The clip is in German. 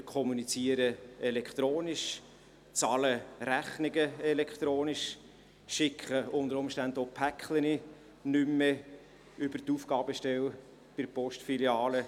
Wir kommunizieren elektronisch, bezahlen Rechnungen elektronisch, schicken unter Umständen auch Pakete nicht mehr über die Aufgabestelle bei der Postfiliale.